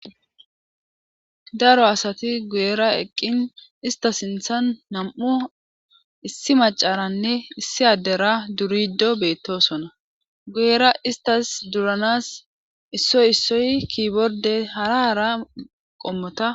daro asati guyera eqqin ista sinthan nam7u issi macaranne issi addera durido beettosona guyera istas duranas issoy issoy kiiborde hara hara qommota